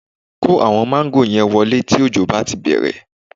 Kó àwọn máńgò yẹn wọlé tí òjò bá ti bẹ̀rẹ̀